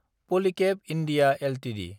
पलिकेब India Ltd